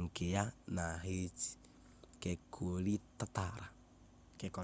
nke ya na haiti kekọrịtara